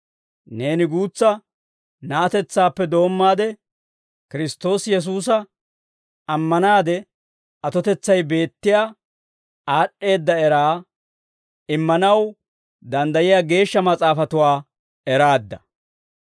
Neeni guutsa na'atetsaappe doommaade Kiristtoosi Yesuusa ammanaade, atotetsay beettiyaa aad'd'eedda eraa immanaw danddayiyaa Geeshsha Mas'aafatuwaa eraadda.